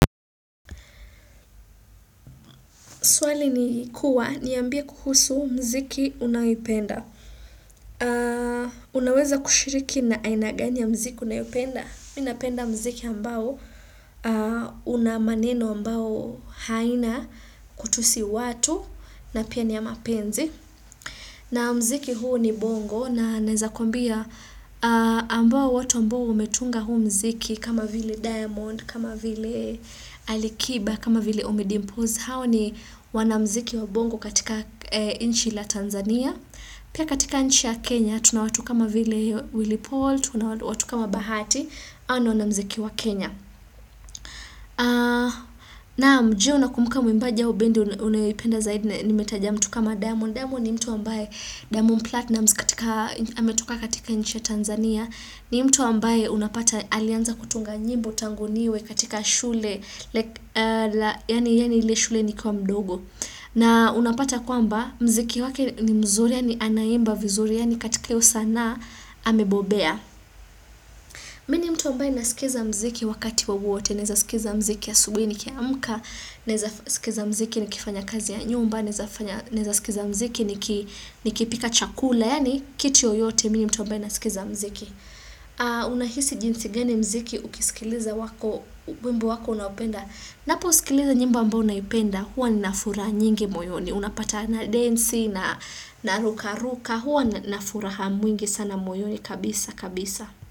Swali ni kuwa niambie kukusu mziki unayopenda. Unaweza kushiriki na aina gani mziki unayopenda? Minapenda mziki ambao unamaneno ambao haina kutusi watu na pia ni ya mapenzi. Na mziki huu ni bongo na naeza kuambia ambao watu ambao umetunga huu mziki kama vili diamond, kama vili alikiba, kama vili omidimpose. Hao ni wanamziki wa bongo katika inchi la Tanzania pia katika inchi ya Kenya tunawatu kama vile Willi Paul tunawatu kama Bahati ao ni wanamziki wa Kenya naam je unakumbuka mwimbaji au bendi unayoipenda zaidi nimetaja mtu kama diamond diamond ni mtu ambaye diamond platinum katika ametoka katika inchi ya Tanzania ni mtu ambaye unapata alianza kutunga nyimbo tanguniwe katika shule yani ile shule ni kiwa mdogo na unapata kwamba mziki wake ni mzuri yani anaimba vizuri yani katika hiyo sana amebobea. Minimtu ambae naskiza mziki wakati wowote, naezaskiza mziki asubuhi nikiamka, nezaskiza mziki nikifanya kazi ya nyumba, nezaskiz mziki nikipika chakula, yani kiti yoyote mimi mtu ambae naskiza mziki. Unahisi jinsi gani mziki ukiskiliza wimbo wako unapenda, napo uskiliza nyimbo ambao naipenda hua ninafuraha nyingi moyoni unapata na densi na ruka ruka hua nafura mwingi sana moyoni kabisa kabisa.